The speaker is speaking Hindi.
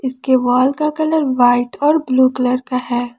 इसके वॉल का कलर व्हाइट और ब्लू कलर का है।